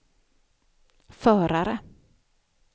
förare